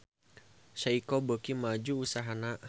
Seiko beuki maju usahana